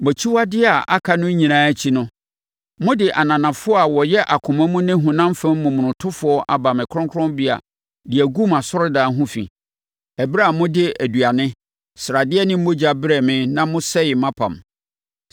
Mo akyiwadeɛ a aka no nyinaa akyi no, mode ananafoɔ a wɔyɛ akoma mu ne honam fam momonotofoɔ aba me kronkronbea de agu mʼasɔredan ho fi, ɛberɛ a mode aduane, sradeɛ ne mogya brɛɛ me na mosɛee mʼapam.